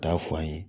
K'a fɔ an ye